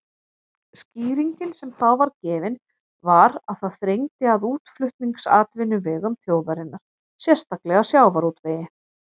Skýringin sem þá var gefin var að það þrengdi að útflutningsatvinnuvegum þjóðarinnar, sérstaklega sjávarútvegi.